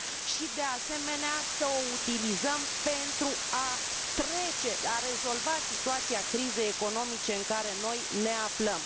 și de asemenea, să o utilizăm pentru a rezolva situația crizei economice în care noi ne aflăm.